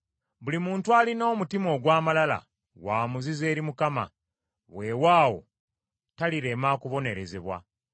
Buli muntu alina omutima ogw’amalala wa muzizo eri Mukama ; weewaawo talirema kubonerezebwa.